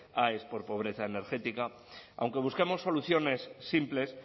aes por pobreza energética aunque busquemos soluciones simples